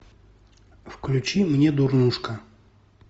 включи мне дурнушка